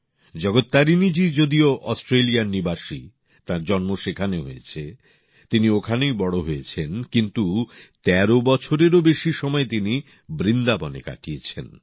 জগত্তারিণীজি যদিও অস্ট্রেলিয়ার নিবাসী তাঁর জন্ম সেখানে হয়েছে তিনি ওখানেই বড় হয়েছেন কিন্তু ১৩ বছরেরও বেশি সময় তিনি বৃন্দাবনে কাটিয়েছেন